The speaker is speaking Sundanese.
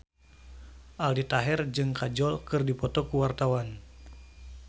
Aldi Taher jeung Kajol keur dipoto ku wartawan